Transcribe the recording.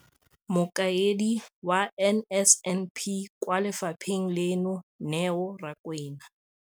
Mokaedi wa NSNP kwa lefapheng leno, Neo Rakwena,